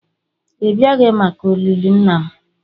ị bịaghị maka olili nna m